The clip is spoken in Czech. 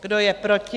Kdo je proti?